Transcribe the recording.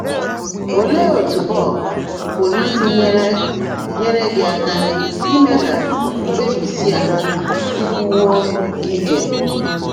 Óleé ótú bọ́ọ̀k pụ́rụ́ ísi nyèèré nyèèré gị́ áká íme kà mkpèbísi á síkúwó íke?